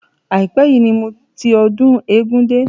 Àípẹ́ yìí ni mo ti ọdún eégún dé.